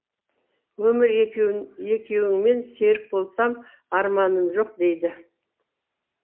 өмірі екеуіңмен серік болсам арманым жоқ дейді